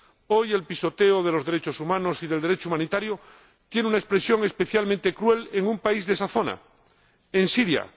Hoy, el pisoteo de los derechos humanos y del Derecho humanitario tiene una expresión especialmente cruel en un país de esa zona, en Siria.